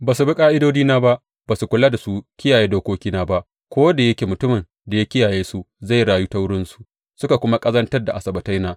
Ba su bi ƙa’idodina ba, ba su kula su kiyaye dokokina ba, ko da yake mutumin da ya kiyaye su zai rayu ta wurinsu, suka kuma ƙazantar da Asabbataina.